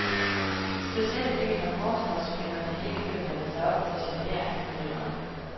Specielt ikke når forsvarsspillerne ikke kan mande sig op til at genere angriberen.